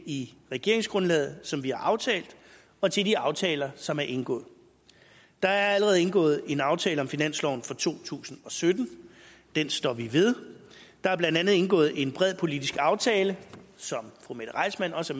i regeringsgrundlaget som vi har aftalt og til de aftaler som er indgået der er allerede indgået en aftale om finansloven for to tusind og sytten den står vi ved der er blandt andet indgået en bred politisk aftale som fru mette reissmann også